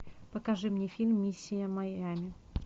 покажи мне фильм миссия майами